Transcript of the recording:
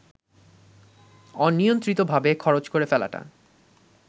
অনিয়ন্ত্রিতভাবে খরচ করে ফেলাটা